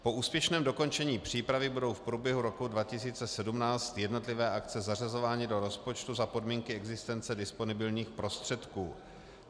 Po úspěšném dokončení přípravy budou v průběhu roku 2017 jednotlivé akce zařazovány do rozpočtu za podmínky existence disponibilních prostředků.